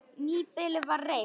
Nýbýli var reist.